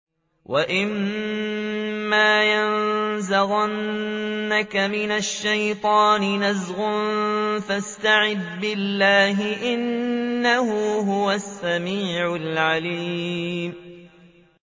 وَإِمَّا يَنزَغَنَّكَ مِنَ الشَّيْطَانِ نَزْغٌ فَاسْتَعِذْ بِاللَّهِ ۖ إِنَّهُ هُوَ السَّمِيعُ الْعَلِيمُ